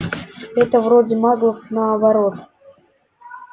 это вроде маглов наоборот